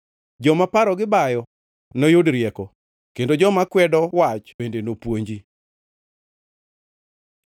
Joma parogi bayo noyud rieko; kendo joma kwedo wach bende nopuonji.